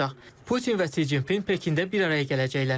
Putin və Si Cinpin Pekində bir araya gələcəklər.